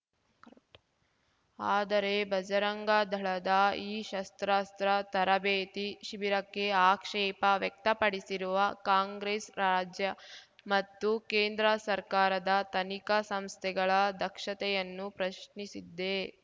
correct ಆದರೆ ಬರಜಂಗ ದಳದ ಈ ಶಸ್ತ್ರಾಸ್ತ್ರ ತರಬೇತಿ ಶಿಬಿರಕ್ಕೆ ಆಕ್ಷೇಪ ವ್ಯಕ್ತಪಡಿಸಿರುವ ಕಾಂಗ್ರೆಸ್‌ ರಾಜ್ಯ ಮತ್ತು ಕೇಂದ್ರ ಸರ್ಕಾರದ ತನಿಖಾ ಸಂಸ್ಥೆಗಳ ದಕ್ಷತೆಯನ್ನು ಪ್ರಶ್ನಿಸಿದ್ದೆ